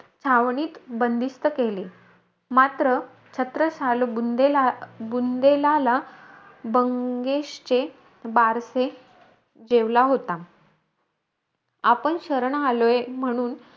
छावणीत बंदिस्त केले. मात्र छत्रसाल बुंदे बुंदेलाला बंगेशचे बारसे जेवला होता. आपण शरण आलोय म्हणून,